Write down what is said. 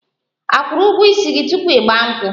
A kwụrụ ụgwọ ísì gị tupu 'Igba nkwu?